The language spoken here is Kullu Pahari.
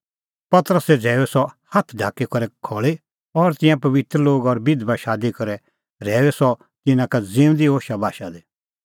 पतरसै झ़ैऊई सह हाथ ढाकी करै खल़ी और तिंयां पबित्र लोग और बिधबा शादी करै रहैऊई सह तिन्नां का ज़िऊंदी होशाबाशा दी